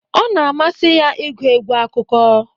Ọ na amasị ya ịgụ egwu akụkọ